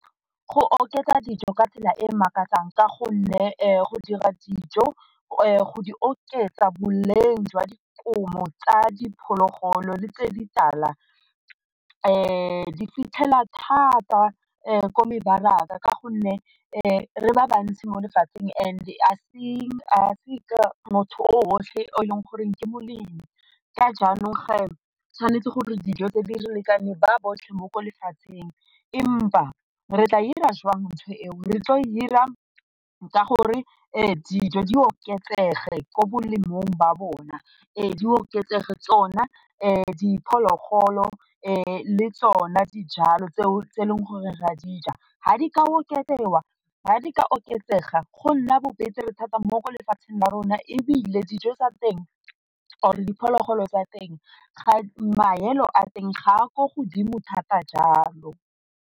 Go oketsa dijo ka tsela e makatsang ka gonne go dira dijo, go di oketsa boleng jwa dikobo tsa diphologolo di tse di tala di fitlhela thata ko mebaraka, ka gonne re ba bantsi mo lefatsheng and a seng a se ka motho o otlhe e leng goreng ke molemi ka jaanong tshwanetse gore dijo tse di re lekane ba botlhe mo ko lefatsheng empa re tla dira jang ntho eo, re tla dira ka gore dijo di oketsege ko bolemong ba bona, di oketsege tsona diphologolo le tsone dijalo tseo tse e leng gore ra di ja, ga di ka oketsega go nna thata mo lefatsheng la rona ebile dijo tsa teng or diphologolo tsa teng ga maelo a teng ga a ko godimo thata jalo.